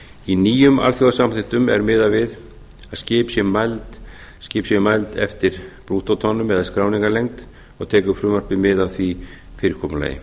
í nýjum alþjóðasamþykktum er miðað við að skip séu mæld eftir brúttótonnum eða skráningarlengd og tekur frumvarpið mið af því fyrirkomulagi